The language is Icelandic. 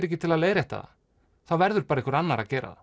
ekki til að leiðrétt það þá verður bara einhver annar að gera það